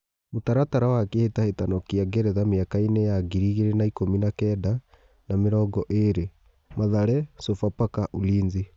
Mũtaratara wa Kĩ hĩ tahĩ tano kĩ a Ngeretha mĩ akainĩ ya ngiri igĩ rĩ na ikũmi na kenda na mĩ rongo ĩ rĩ : Mathare, Sofapaka, Ulinzi.